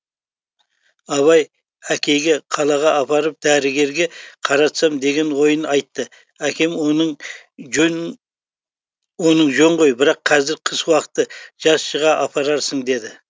абай әкейге қалаға апарып дәрігерге қаратсам деген ойын айтты әкем оның жөн оның жөн ғой бірақ қазір қыс уақыты жаз шыға апарарсың деді